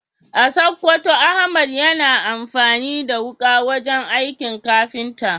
A Sokoto, Ahmad yana amfani da wuka wajen aikin kafinta.